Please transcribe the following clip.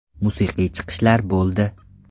Musiqiy chiqishlar bo‘ldi.